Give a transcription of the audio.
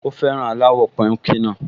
Ó fẹ́ràn aláwọ̀ píùnkì náà